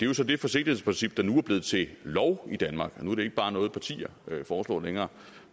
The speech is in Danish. jo så det forsigtighedsprincip der nu er blevet til lov i danmark nu er det ikke bare noget partier foreslår længere